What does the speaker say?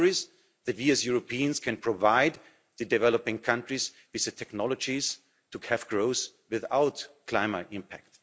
The answer is that we as Europeans can provide the developing countries with the technologies to have growth without climate impact.